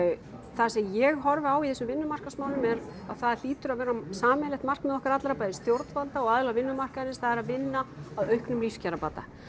það sem ég horfi á í þessum vinnumarkaðsmálum er að það hlýtur að vera sameiginlegt markmið okkar allra bæði stjórnvalda og aðila vinnumarkaðarins það er að vinna að auknum lífskjarabata